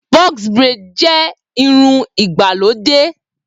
Box Braid jẹ́ irun ìgbàlódé